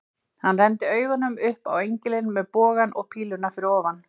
Hann renndi augunum upp á engilinn með bogann og píluna fyrir ofan.